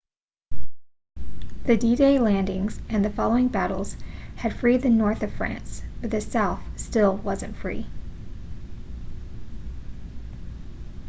the d-day landings and the following battles had freed the north of france but the south still wasn't free